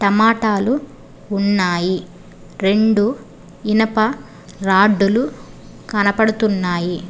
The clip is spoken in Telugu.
టమాటాలు ఉన్నాయి రెండు ఇనుప రాడ్ లు కనపడుతున్నాయి.